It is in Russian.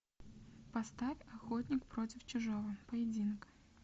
поставь охотник против чужого поединок